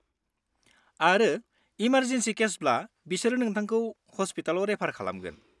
-आरो इमारजेनसि केसब्ला बिसोरो नोंथांखौ हस्पिटालआव रेफार खालामगोन।